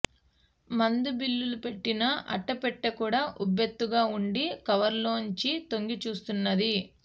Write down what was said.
మందు బిళ్లలు పెట్టిన అట్ట పెట్టె కూడా ఉబ్బెత్తుగా వుండి కవరులోంచి తొంగి చూస్తున్నది